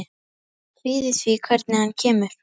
Ég kvíði því hvernig hann kemur.